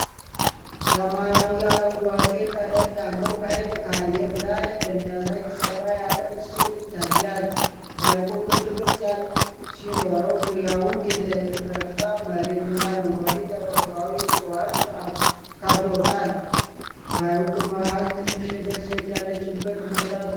ሰማያዊ አረንጓዴ ቀለም ያለው ሐይቅ ከአየር ላይ በሚያሳይ ሰፋ ያለ ምስል ይታያል። ሐይቁ ክብ ቅርጽ ሲኖረው ዙሪያውን የደረቀ መሬትና አረንጓዴ ተፈጥሯዊ እፅዋት ከበውታል። በሐይቁ መሃል ትንሽ ደሴት ያለችበት ቦታ ትታያለች።